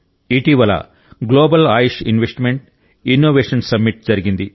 ఇటీవల global AYUSH investment innovation summit జరిగింది